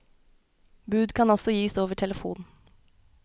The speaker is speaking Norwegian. Bud kan også gis over telefon.